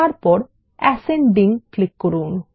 তারপর অ্যাসেন্ডিং এ ক্লিক করুন